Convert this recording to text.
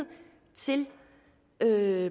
så er